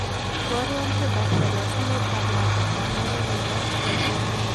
Iborwon tiendap kalosunetap lakwetap muren ne po laitoriat